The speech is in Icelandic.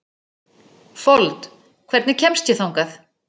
Fold, hvernig kemst ég þangað?